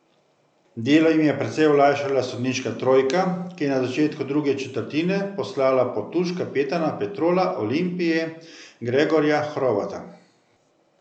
Delo jim je precej olajšala sodniška trojka, ki je na začetku druge četrtine poslala pod tuš kapetana Petrola Olimpije Gregorja Hrovata.